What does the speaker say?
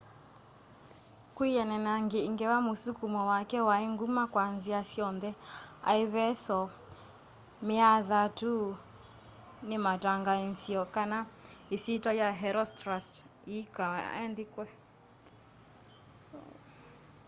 kwianana na i ngewa musukumo wake wai nguma kwa nzia syonthe aeveso me athatu ni matangaanzie kana isyitwa ya herostratus yiikaa andikwe